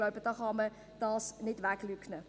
Das kann man nicht leugnen.